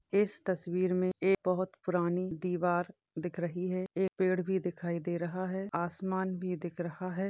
इस तस्वीर मे एक बहुत ही पुरानी दीवार दिख रही है एक पेड़ भी दिखाई दे रहा है आसमान भी दिख रहा है।